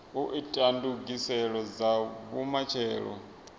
u ita ndugiselo dza vhumatshelo